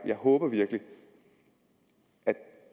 jeg håber virkelig at